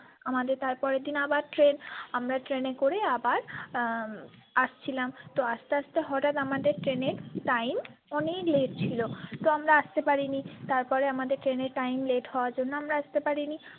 আমাদের তারপরের দিনে আবার train আমরা train এ করে আবার আবার উম আসছিলাম তো আস্তে আস্তে হটাৎ আমাদের train এর time অনেক late ছিল তো আমরা আসতে পারিনি তারপরে আমাদের train এর timelate হবার জন্য আমরা আসতে পারিনি।